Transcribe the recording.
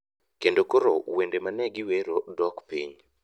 kendo koro wende mane giwero dok piny.